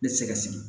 Ne tɛ se ka sigi